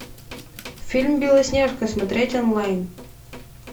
фильм белоснежка смотреть онлайн